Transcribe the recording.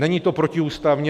Není to protiústavní.